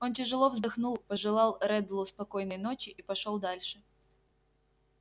он тяжело вздохнул пожелал реддлу спокойной ночи и пошёл дальше